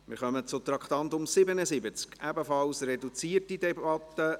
Wir kommen zum Traktandum 77, ebenfalls eine reduzierte Debatte.